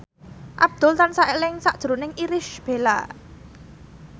Abdul tansah eling sakjroning Irish Bella